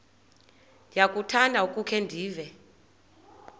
ndiyakuthanda ukukhe ndive